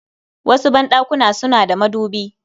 wasu ban ɗakuna suna da madubi